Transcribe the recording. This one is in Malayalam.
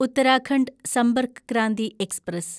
ഉത്തരാഖണ്ഡ് സമ്പർക്ക് ക്രാന്തി എക്സ്പ്രസ്